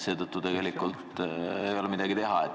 Seetõttu ei ole midagi teha.